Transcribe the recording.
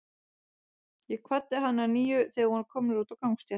Ég kvaddi hann að nýju, þegar við vorum komnir út á gangstétt.